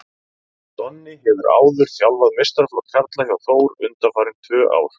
Donni hefur áður þjálfað meistaraflokk karla hjá Þór undanfarin tvö ár.